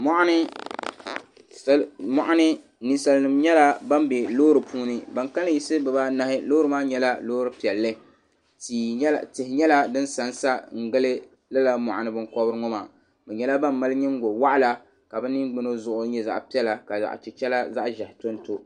Mɔɣu ni ninsali nima yɛla bani bɛ loori puuni ba ni kanli yiɣisi biba anahi loori maa yɛla loori piɛlli tihi yɛla di ni sa n sangili lala muɣu ni bini kɔbiri ŋɔ maa bi yɛla ba ni mali yingoli waɣila ka bi niŋgbuna zuɣu yɛ zaɣi piɛla ka ziɣi chichira zaɣi ʒɛhi to n to.